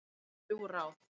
Þrjú ráð